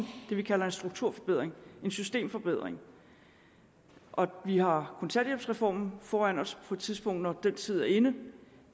det vi kalder en strukturforbedring en systemforbedring vi har kontanthjælpsreformen foran os på et tidspunkt når den tid er inde